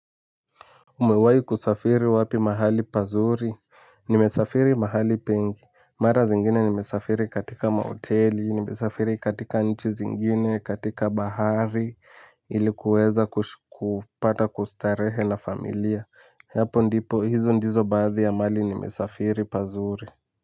Umewahi kusafiri wapi mahali pazuri? Nimesafiri mahali pengi. Mara zingine nimesafiri katika mahoteli, nimesafiri katika nchi zingine, katika bahari, ili kuweza kupata kustarehe na familia. Hizo ndizo baadhi ya mahali nimesafiri pazuri.